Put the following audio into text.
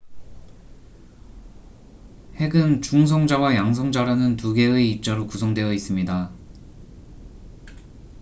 핵은 중성자와 양성자라는 2개의 입자로 구성되어 있습니다